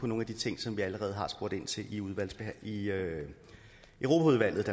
nogle af de ting som vi allerede har spurgt ind til i europaudvalget